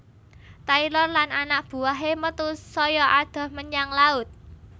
Taylor lan anak buwahé metu saya adoh menyang laut